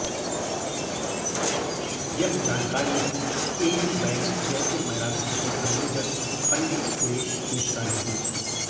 यह जानकारी AU bank Jaipur marathon के आयोजक पंडित सुरेश मिश्रा ने दी